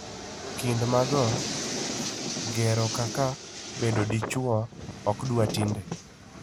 kind mago, ngero kaka "bedo dichuo" okdwa tinde.